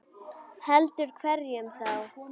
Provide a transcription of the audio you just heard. Heldur hverjum þá?